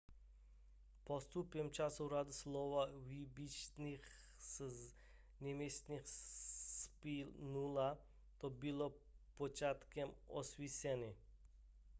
postupem času řada slov vypůjčených z němčiny splynula to bylo počátkem osvícení